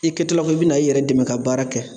I kɛtɔla ko i bɛna i yɛrɛ dɛmɛ ka baara kɛ